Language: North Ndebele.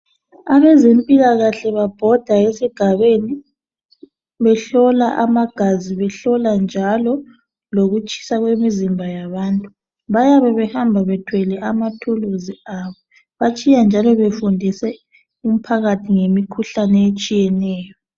Abezempilakahle babhoda esigabeni behlola amagazi , behlola njalo lokutshisa kwemizimba yabantu. Bayabe behamba bethwele amathuluzi abo .Batshiya njalo befundise umphakathi ngemikhuhlane etshiyeneyo.